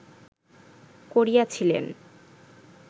করিয়াছিলেন